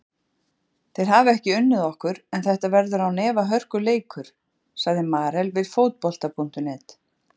Þeir hafa ekki unnið okkur en þetta verður án efa hörkuleikur, sagði Marel við Fótbolta.net.